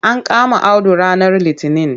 An kama Audu ranar litinin.